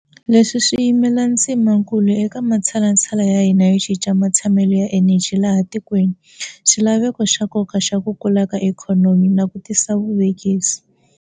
Leswi swi yimela ndzimakulu eka matshalatshala ya hina yo cinca matshamelo ya eneji laha tikweni, xila veko xa nkoka xa ku kula ka ikhonomi na ku tisa vuvekisi.